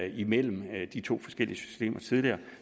imellem de to forskellige systemer tidligere